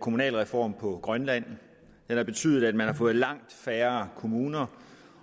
kommunalreform på grønland den har betydet at man har fået langt færre kommuner